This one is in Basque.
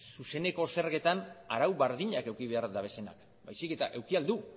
zuzeneko zergetan arau berdinak eduki behar dabezenak baizik eta eduki ahal du